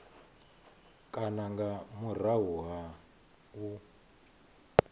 kana nga murahu ha u